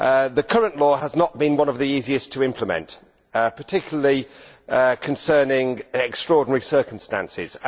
The current law has not been one of the easiest to implement, particularly concerning extraordinary circumstances.